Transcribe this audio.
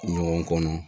Ɲɔgɔn kɔnɔ